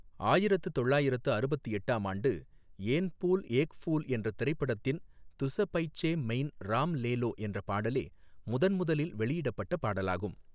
ஆயிரத்து தொள்ளாயிரத்து அறுபத்து எட்டாம் ஆண்டு ஏன் பூல் ஏக் ஃபூல் என்ற திரைப்படத்தின் துஸ பைசே மெயின் ராம் லே லோ என்றப் பாடலே முதன் முதலில் ளெியிடப்பட்ட பாடலாகும்.